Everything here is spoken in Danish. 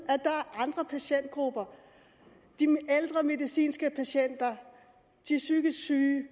andre patientgrupper de ældre medicinske patienter de psykisk syge